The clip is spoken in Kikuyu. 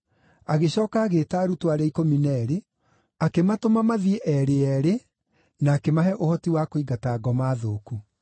Agĩcooka agĩĩta arutwo arĩa ikũmi na eerĩ, akĩmatũma mathiĩ eerĩ eerĩ na akĩmahe ũhoti wa kũingata ngoma thũku.